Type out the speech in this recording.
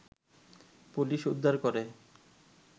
police উদ্ধার করে